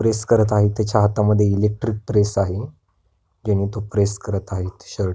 press करत आहेत तेच्या हातामध्ये इलेक्ट्रिक प्रेस आहे ज्यानी तो प्रेस करत आहे शर्ट --